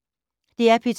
DR P2